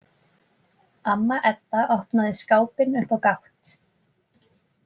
Amma Edda opnaði skápinn upp á gátt.